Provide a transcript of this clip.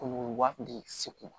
Ko waatini kisi kun